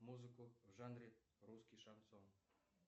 музыку в жанре русский шансон